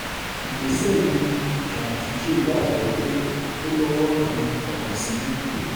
ìgbésẹ̀ yìí ní ganduje gbàgbọ́ pé ó lọ́wọ́ kan àbòsí nínú